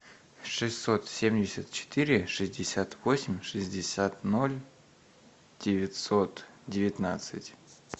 шестьсот семьдесят четыре шестьдесят восемь шестьдесят ноль девятьсот девятнадцать